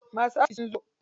Masu askin sun zo.